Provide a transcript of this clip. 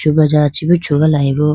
broja chee bi chugalayi bo.